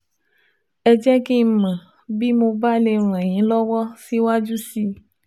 ẹ jẹ́ kí n mọ̀ bí mo bá lè ràn yín lọ́wọ́ síwájú sí i